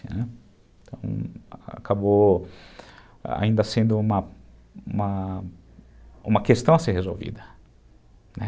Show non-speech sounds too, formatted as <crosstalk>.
<unintelligible> acabou ainda sendo uma uma uma questão a ser resolvida, né?